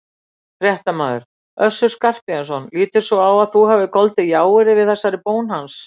Fréttamaður: Össur Skarphéðinsson lítur svo á að þú hafir goldið jáyrði við þessari bón hans?